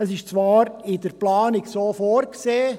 Es ist zwar in der Planung so vorgesehen.